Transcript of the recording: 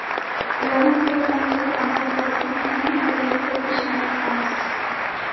Ularni to‘g‘ridan to‘g‘ri amal qiladigan qonun holiga keltirish niyatidamiz.